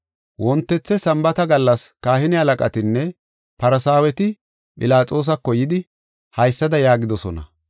Wontethe Sambaata gallas, kahine halaqatinne Farsaaweti Philaxoosako yidi, haysada yaagidosona: